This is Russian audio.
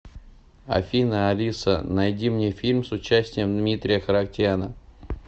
афина алиса найди мне фильм с участием дмитрия харатьяна